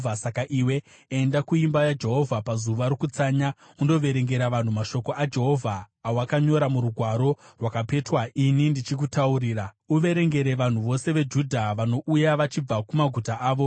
Saka iwe enda kuimba yaJehovha pazuva rokutsanya undoverengera vanhu mashoko aJehovha awakanyora murugwaro rwakapetwa ini ndichikutaurira. Uverengere vanhu vose veJudha vanouya vachibva kumaguta avo.